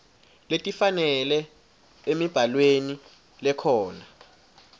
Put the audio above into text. letifanele emibhalweni lekhona